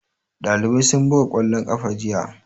Ɗalibai sun buga ƙwallon ƙafa jiya.